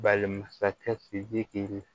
Balimansakɛ sidiki